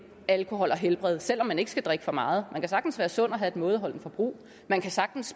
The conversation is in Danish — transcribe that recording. alkohol og helbred selv om man ikke skal drikke for meget man kan sagtens være sund og have et mådeholdent forbrug man kan sagtens